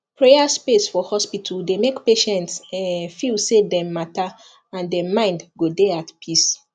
prayer space for hospital dey make patients um feel say dem matter and dem mind go dey at peace